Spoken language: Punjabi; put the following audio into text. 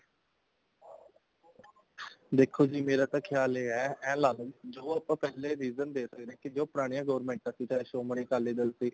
ਦੇਖੋ ਜੀ ਮੇਰਾ ਤਾਂ ਖਿਆਲ ਇਹ ਹੈ ਇਹ ਲਾਲੋ ਜੋ ਆਪਾਂ ਪਹਿਲੇ vision ਦੇਖ ਸਕਦੇ ਹਾਂ ਜੋ ਪੁਰਾਣੀਆਂ government ਸੀ ਚਾਹੇ ਸ਼੍ਰੋਮਣੀ ਅਕਾਲੀ ਦਲ ਸੀ